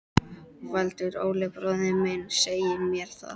Valur: Óli bróðir minn segir mér það.